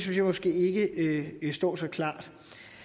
jeg måske ikke står så klart